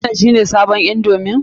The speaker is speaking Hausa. Wannan shi ne sabon indomi?